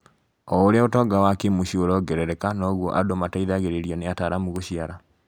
Oũrĩa ũtonga wa kĩ-mũciĩ ũrongerereka noguo andũ mateithagĩrĩrio nĩ ataaramu gũciara